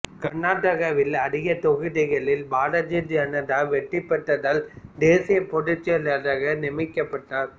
கர்நாடகாவில் அதிக தொகுதிகளில் பாரதிய ஜனதா வெற்றி பெற்றதால் தேசிய பொதுச் செயலாளராக நியமிக்கப்பட்டார்